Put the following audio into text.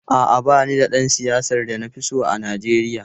A’a, ba ni da ɗan siyasa da na fi so a Najeriya.